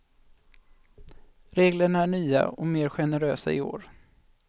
Reglerna är nya och mer generösa i år.